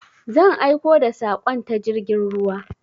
Zan aiko da saƙon ta jirgin ruwa.